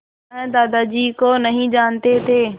वह दादाजी को नहीं जानते थे